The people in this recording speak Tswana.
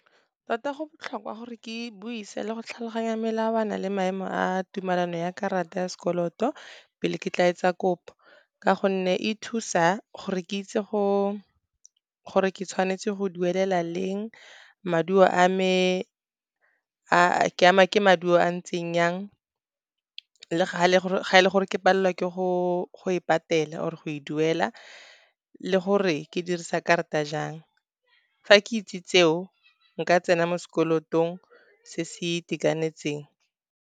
Tota go botlhokwa gore ke buise le go tlhaloganya melawana le maemo a tumelano ya karata ya sekoloto pele ke tla etsa kopo, ka gonne e thusa gore ke itse gore ke tshwanetse go duelela leng maduo a me, ke ama ke maduo a ntseng jang, le ga e le gore ke palelwa ke go e patela, or go e duela le gore ke dirisa karata jang. Fa ke itse tseo, nka tsena mo sekolotong se se itekanetseng.